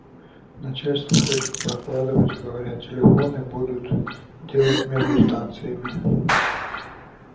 начальство хочет прокладывать говорят телефоны будут делать между станциями